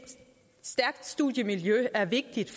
stærkt studiemiljø er vigtigt